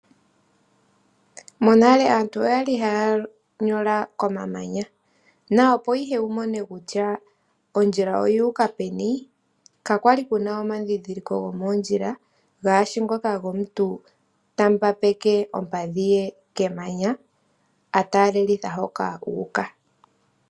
Monale aantu oyali haya nyola komamanya na opo ihe wumone kutya ondjila oyuuka peni kakwali kuna omandhindhiliko gomoondjila ngaashi ngoka gomuntu tambambeke ompadhi ye kemanya a talelitha hoka u uka.